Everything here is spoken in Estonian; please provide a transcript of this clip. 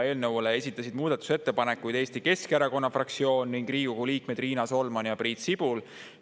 Eelnõu kohta esitasid muudatusettepanekuid Eesti Keskerakonna fraktsioon ning Riigikogu liikmed Riina Solman ja Priit Sibul.